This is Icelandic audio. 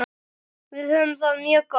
Við höfum það mjög gott.